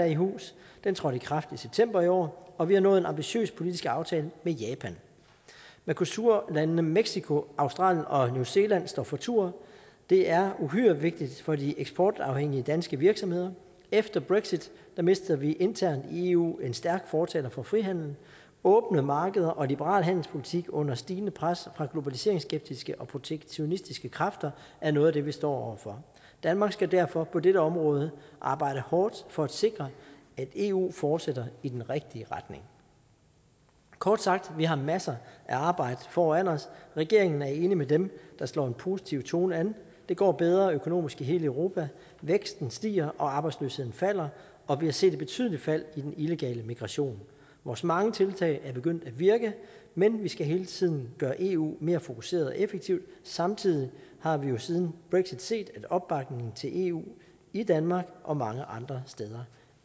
i hus den trådte i kraft i september i år og vi har nået en ambitiøs politisk aftale med japan mercosurlandene mexico australien og new zealand står for tur det er uhyre vigtigt for de eksportafhængige danske virksomheder efter brexit mister vi internt i eu en stærk fortaler for frihandel åbne markeder og liberal handelspolitik under stigende pres fra globaliseringsskeptiske og protektionistiske kræfter er noget af det vi står for danmark skal derfor på dette område arbejde hårdt for at sikre at eu fortsætter i den rigtige retning kort sagt vi har masser af arbejde foran os regeringen er enig med dem der slår en positiv tone an det går bedre økonomisk i hele europa væksten stiger og arbejdsløsheden falder og vi har set et betydeligt fald i den illegale migration vores mange tiltag er begyndt at virke men vi skal hele tiden gøre eu mere fokuseret og effektiv samtidig har vi jo siden brexit set at opbakningen til eu i danmark og mange andre steder